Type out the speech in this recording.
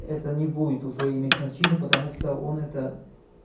это не будет уже иметь значение потому что он это